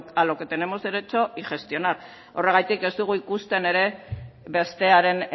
a lo que tenemos derecho y gestionar horregatik ez dugu ikusten ere bestearen